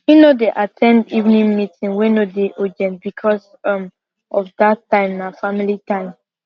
him no dey at ten d evening meeting wey no dey urgent becos um of dat time na family time